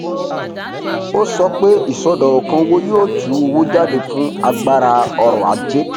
um ó sọ pé iṣọdọkan owó yóò tú owó jáde fún agbára ọrọajé